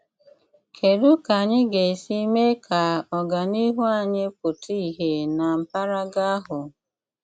Kédú kà ányị́ gà-ésí méé kà ọ́gáníhù ányị́ pụ́tà ìhé ná m̀pàràgà áhụ́?